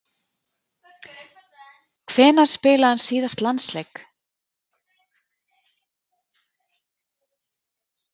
Hvenær spilaði hann síðast landsleik?